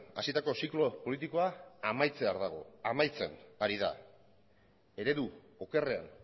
hasitako ziklo politikoa amaitzear dago amaitzen ari da eredu okerrean